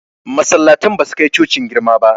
Masallatan ba su kai cocin girma ba